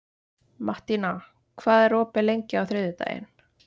Mattína, hvað er opið lengi á þriðjudaginn?